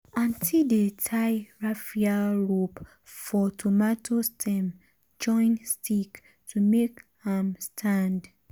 aunty dey tie raffia rope for um tomato stem join stick to make am um stand.